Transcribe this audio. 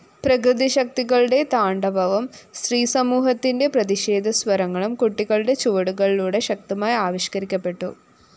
പ്രകൃതിശക്തികളുടെ താണ്ഡവവും സ്ത്രീസമൂഹത്തിന്റെ പ്രതിഷേധസ്വരങ്ങളും കുട്ടികളുടെ ചുവടുകളിലൂടെ ശക്തമായി ആവിഷ്‌കരിക്കപ്പെട്ടു